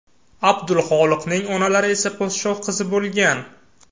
Abdulxoliqning onalari esa podshoh qizi bo‘lgan.